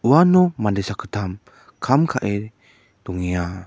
uano mande sakgittam kam ka·e dongenga.